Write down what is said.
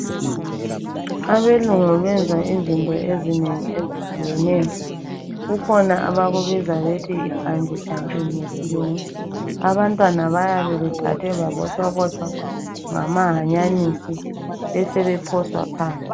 Abelungu benza izinto ezinengi ezehlukeneyo. Kukhona abakubiza bethu yi bunglee jumping ngesilungu. Abantwana bayabe beqale babotshwabotshwa ngama hanyanisi besebephoswa phansi.